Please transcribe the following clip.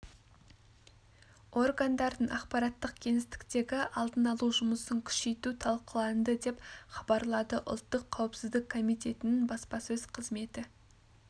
органдардың ақпараттық кеңістіктегі алдын алу жұмысын күшейту талқыланды деп хабарлады ұлттық қауіпсіздік комитетінің баспасөз қызметі